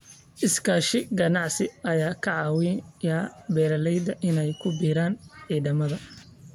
Iskaashi ganacsi ayaa ka caawiya beeralayda inay ku biiraan ciidamada.